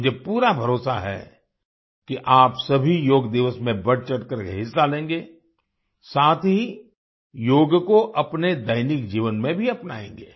मुझे पूरा भरोसा है कि आप सभी योग दिवस में बढ़चढ़कर के हिस्सा लेंगे साथ ही योग को अपने दैनिक जीवन में भी अपनाएंगे